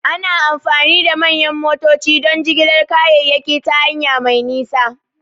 Ana amfani da manyan motoci don jigilar kayayyaki ta hanya mai nisa.